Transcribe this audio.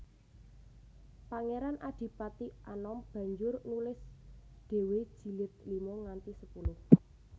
Pangeran Adipati Anom banjur nulis dhéwé jilid lima nganti sepuluh